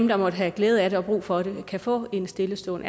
der måtte have glæde af det og brug for det kan få en stille stund